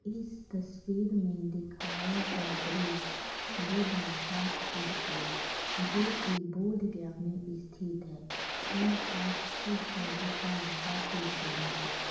इस तस्वीर में दिखाया गया दृश्य बुद्धा फ़ास्ट फूड की है जो की बोधगया मे स्थित है यह फास्ट फूड का दुकान काफी फेमस है।